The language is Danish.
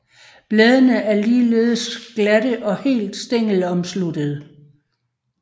Bladene er ligeledes glatte og helt stængelomsluttende